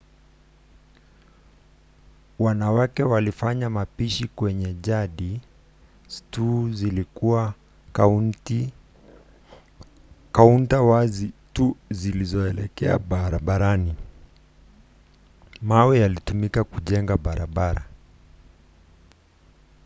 wanawake walifanya mapishi kwenye yadi; stoo zilikuwa kaunta wazi tu zilizoelekea barabarani. mawe yalitumika kujengea barabara